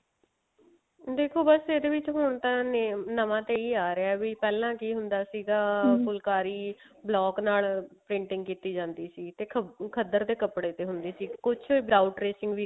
ਦੇਖੋ ਬਸ ਇਹਦੇ ਵਿੱਚ ਹੁਣ ਤਾਂ ਨਾਮ ਨਵਾਂ ਤਾਂ ਇਹੀ ਆ ਰਿਹਾ ਵੀ ਪਹਿਲਾਂ ਕੀ ਹੁੰਦਾ ਸੀਗਾ ਫੁਲਕਾਰੀ block ਨਾਲ printing ਕੀਤੀ ਜਾਂਦੀ ਸੀ ਦੇਖੋ ਖੱਦਰ ਦੇ ਕੱਪੜੇ ਤੇ ਹੁੰਦੇ ਸੀ without tracing ਵੀ